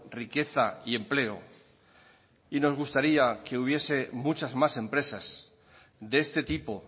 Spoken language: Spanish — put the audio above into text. riqueza y empleo y nos gustaría que hubiese muchas más empresas de este tipo